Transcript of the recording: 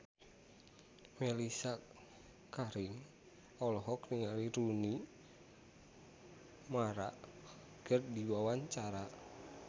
Mellisa Karim olohok ningali Rooney Mara keur diwawancara